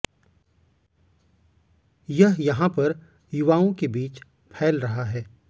यह यहाँ पर युवाओं के बीच फैल रहा है